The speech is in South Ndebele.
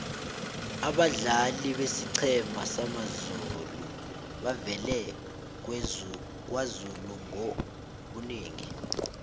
abadlali besiqhema samazulu bavela kwazulu ngobunengi